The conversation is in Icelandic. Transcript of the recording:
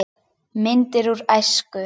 Myndir úr æsku.